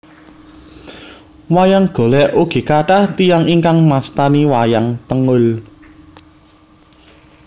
Wayang Golèk ugi kathah tiyang ingkang mastani wayang tengul